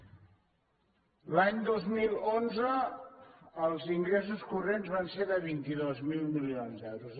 l’any dos mil onze els ingressos corrents van de ser de vint dos mil milions d’euros